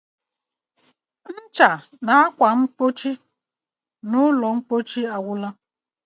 Ncha na akwamkpochi dị n'ụlọmkpochi agwụla